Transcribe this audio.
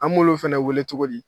An b'olu fɛnɛ weele cogo di?